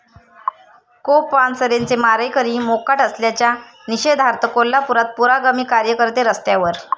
कॉ. पानसरेंचे मारेकरी मोकाट असल्याच्या निषेधार्थ कोल्हापुरात पुरोगामी कार्यकर्ते रस्त्यावर